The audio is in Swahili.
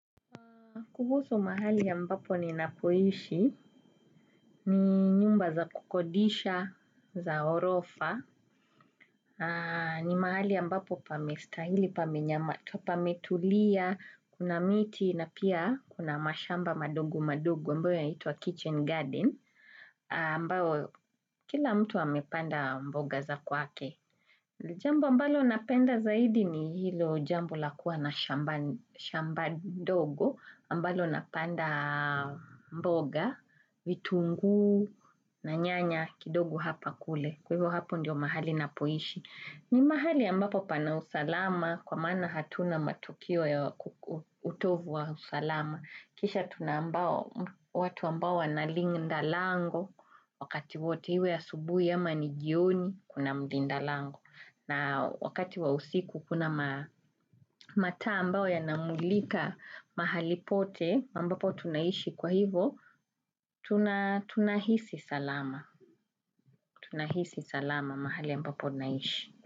Kuhusu mahali ambapo ninapoishi, ni nyumba za kukodisha, za ghorofa, ni mahali ambapo pamestahili, pamenyamaza, pametulia, kuna miti, na pia kuna mashamba madogo madogo, ambayo yanaitwa kitchen garden, ambao kila mtu amepanda mboga za kwake. Jambu ambalo napenda zaidi, ni hilo jambo lakuwa na shamba. Shamba dogo ambalo napanda mboga, vitungu na nyanya, kidogo hapa kule. Kwa hivo hapo ndio mahali napoishi. Ni mahali ambapo pana usalama, kwa maana hatuna matukio ya utovu wa usalama. Kisha tuna ambao watu ambao wanalinda lango, wakati wote iwe asubuhi ama nijioni kuna mlinda lango. Na wakati wa usiku, kuna mataa ambayo namulika mahali pote, ambapo tunaishi kwa hivo Tunahisi salama, tunahisi salama, mahali mbapo naishi.